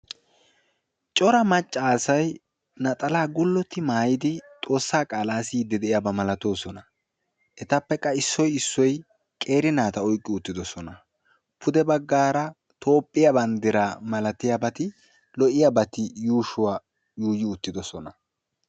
Cora maccasay naxala gullotti maayyidi Xoossaa qaala siyide de'iyaaba maalatoosona etappe qa issoy issoy qeeri naata oyqqi uttidoossona pude baggara Toophphiya banddira malatiyaabati lo"iyaabati yuushuwa yuuyi uttidossona.